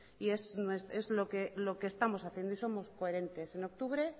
y es lo que estamos haciendo y somos coherentes en octubre